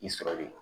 I sɔrɔli